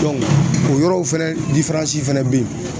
o yɔrɔw fɛnɛ fɛnɛ be yen